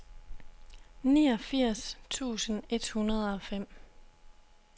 niogfirs tusind et hundrede og fem